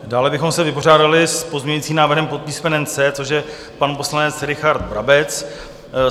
Dále bychom se vypořádali s pozměňovacím návrhem pod písmenem C, což je pan poslanec Richard Brabec.